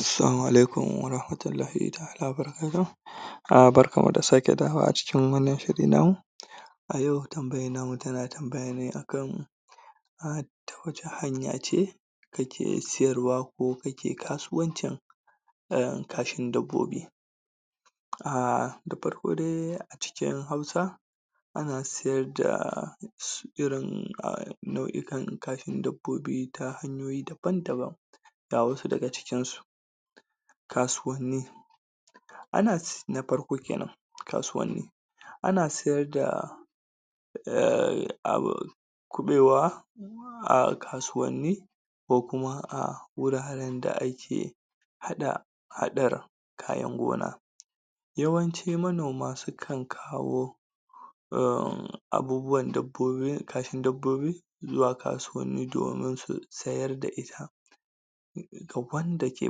Assalamu alaikum warahmatullahi taʼala wa barkatuhu barkanmu da sake dawowa cikin wannan shiri namu. A yau shirin namu na tambaya ce a kan ta wace hanya ce ake sayarwa ko ake kasuwancin kashin dabbobi? Da farko dai cikin Hausa ana sayar da irin nauʼukan kashin dabbobi daban-daban, ga wassu daga cikin su. Na farko kasuwanni, ana na farko kenan kasuwanni ana sayar da kuɓewa a kasuwanni ko kuma a wuraren da ake hada kayan noma, yawanci manoma sukan kawo um abubuwan dabbobi kashin dabbobi zuwa kasuwanni domin sayar da ita ga wanda ke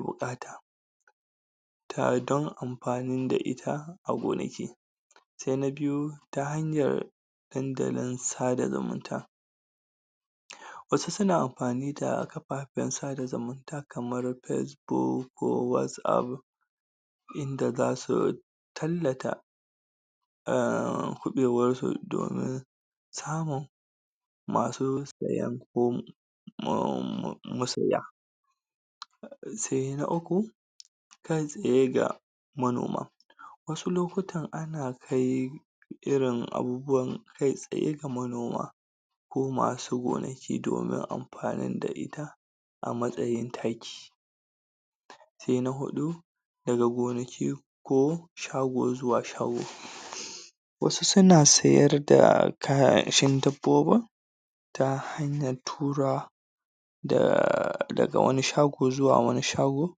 buƙata dan amfani da ita a gonaki. Sai na biyu, ta hanyar dandalin sada zumunta. Wasu suna amfani da kafafen sada zumunta kamar facebook ko whatsapp inda za su tallata kuɓewarsu domin samun masu saye ko um masaya, Sai na uku, Kai tsaye ga manoma. Wassu lokutan ana kai irin abubuwan kai tsaye ga manoma ko masu gonaki domin amfanin gudanar da ita a matsayin taki. Sai na hudu, daga gonaki ko shago zuwa shago. Wassu suna sayar da kashin dabbobin ta hanyar turawa daga wani shago zuwa wani shagon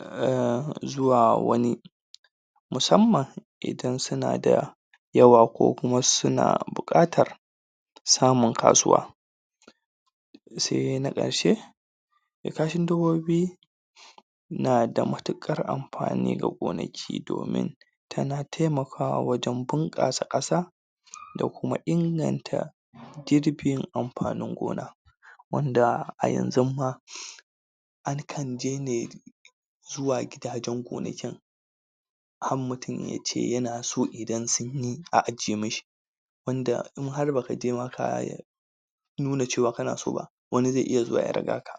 um zuwwa wani musamman idan suna da yawa ko suna buƙatar samun kasuwa. Sai na ƙarshe, kashin dabbobi na da matukar amfani ga gonaki domin tana taimakawa wajen bunƙasa ƙasa da kuma inganta girbin amfanin gona wanda a yanzun ma a kan je ne zuwa gidajen gonakin har mutum kan ce a ajiye mishi wanda in har ba ka je ma ka nuna cewa ka na so ba wani zai iya zuwa ya riga ka.